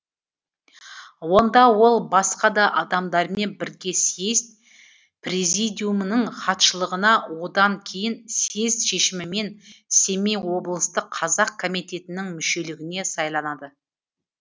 онда ол басқа да адамдармен бірге съезд президиумының хатшылығына одан кейін съезд шешімімен семей облыстық қазақ комитетінің мүшелігіне сайланады